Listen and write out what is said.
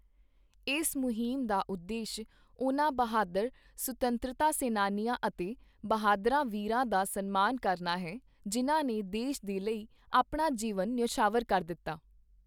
ਇਸ ਮੁਹਿੰਮ ਦਾ ਉਦੇਸ਼ ਉਨ੍ਹਾਂ ਬਹਾਦਰ ਸੁਤੰਤਰਤਾ ਸੈਨਾਨੀਆਂ ਅਤੇ ਬਹਾਦਰਾਂ ਵੀਰਾਂ ਦਾ ਸਨਮਾਨ ਕਰਨਾ ਹੈ, ਜਿਨ੍ਹਾਂ ਨੇ ਦੇਸ਼ ਦੇ ਲਈ ਆਪਣਾ ਜੀਵਨ ਨਿਓਛਾਵਰ ਕਰ ਦਿੱਤਾ।